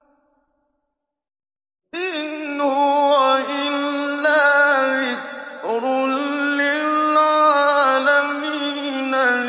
إِنْ هُوَ إِلَّا ذِكْرٌ لِّلْعَالَمِينَ